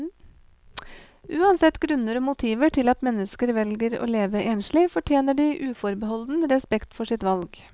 Uansett grunner og motiver til at mennesker velger å leve enslig, fortjener de uforbeholden respekt for sitt valg.